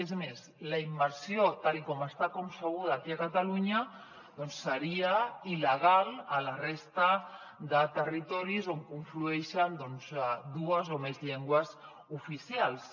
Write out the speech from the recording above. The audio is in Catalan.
és més la immersió tal com està concebuda aquí a catalunya seria il·legal a la resta de territoris on conflueixen doncs dues o més llengües oficials